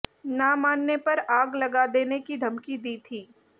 ना मानने पर आग लगा देने की धमकी दी थी